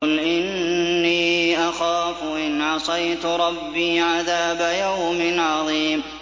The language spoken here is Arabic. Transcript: قُلْ إِنِّي أَخَافُ إِنْ عَصَيْتُ رَبِّي عَذَابَ يَوْمٍ عَظِيمٍ